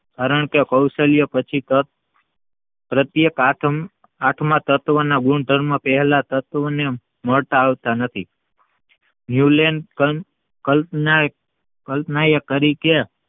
અરણ કે કૌશલ્ય પછી પ્રત્યેક આઠમા તત્વના ગુણધર્મ પહેલા તત્વને મળતા આવતા નથી નુલેન્ડ કલ્પના કલ્પના એ કરી કે